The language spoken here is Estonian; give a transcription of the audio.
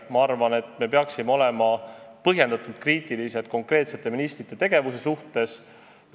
Ma arvan, et me peaksime olema põhjendatult kriitilised konkreetsete ministrite tegevuse suhtes.